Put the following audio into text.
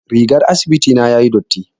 Rigar asibiti na tayi datti.